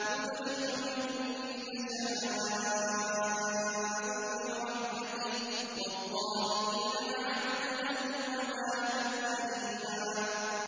يُدْخِلُ مَن يَشَاءُ فِي رَحْمَتِهِ ۚ وَالظَّالِمِينَ أَعَدَّ لَهُمْ عَذَابًا أَلِيمًا